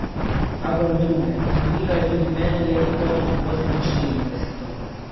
Kakor druge, vzbudilo je tudi mene leto oseminštirideseto.